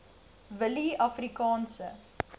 willieafrikaanse